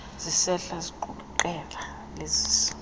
zisehla ziqukuqela lezisa